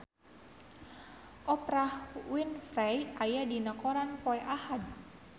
Oprah Winfrey aya dina koran poe Ahad